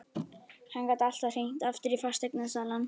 Hann gat alltaf hringt aftur í fasteignasalann.